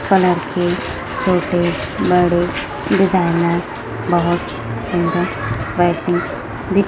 colour के छोटे बड़े डिजाइनर बहुत सुंदर फैशन दिख--